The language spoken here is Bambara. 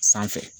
Sanfɛ